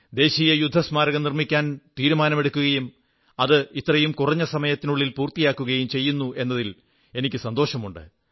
ദേശീയ യുദ്ധസ്മാരകം നിർമ്മിക്കാൻ തീരുമാനമെടുക്കുകയും അത് ഇത്രയും കുറഞ്ഞ സമയത്തിനുള്ളിൽ പൂർത്തിയാവുകയും ചെയ്യുന്നു എന്നതിൽ എനിക്കു സന്തോഷമുണ്ട്